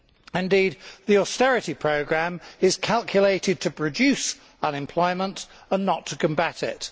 Indeed, the austerity programme is calculated to produce unemployment and not to combat it.